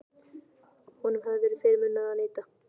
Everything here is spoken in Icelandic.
Honum hafði verið fyrirmunað að neita.